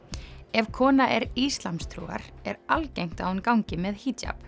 ef kona er íslamstrúar er algengt að hún gangi með hijab